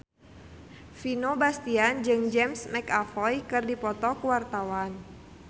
Vino Bastian jeung James McAvoy keur dipoto ku wartawan